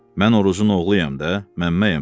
Mən Orucun oğluyam da, Məmməyəm də.